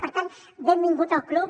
per tant benvingut al club